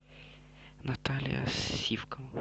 наталья сивкова